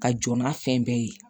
Ka jɔ n'a fɛn bɛɛ ye